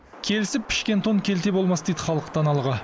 келісіп пішкен тон келте болмас дейді халық даналығы